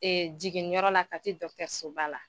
jiginni yɔrɔ la Kati dɔtɛrisoba la.